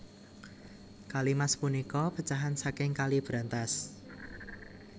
Kali Mas punika pecahan saking Kali Brantas